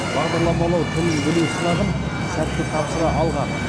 бағдарламалау тілін білу сынағын сәтті тапсыра алған